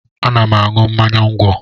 Ana m aṅụ mmanya ńgwọ